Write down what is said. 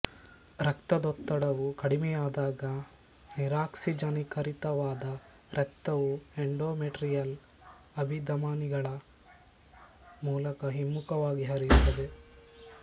ರಕ್ತದೊತ್ತಡವು ಕಡಿಮೆಯಾದಾಗ ನಿರಾಕ್ಸಿಜನೀಕರಿತವಾದ ರಕ್ತವು ಎಂಡೋಮೆಟ್ರಿಯಲ್ ಅಭಿಧಮನಿಗಳ ಮೂಲಕ ಹಿಮ್ಮುಖವಾಗಿ ಹರಿಯುತ್ತದೆ